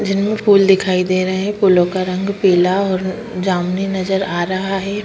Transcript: जिन मे फूल दिखाई दे रहे है फूलों का रंग पीला और जामुनी नज़र आ रहा है।